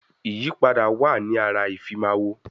Ìyípadà wa ní ara ìfimáwọ̀